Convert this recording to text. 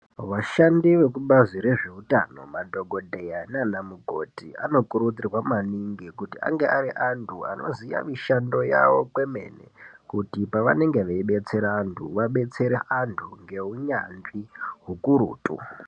Vashandi vekubazi rezveutano madhokoteya naana mukoti anokurudzirwa maningi kuti ange ari antu anoziya mishando yavo kwemene kuti pavanenge veidetsera antu vadetsere antu ngeunyanzvi hukurutu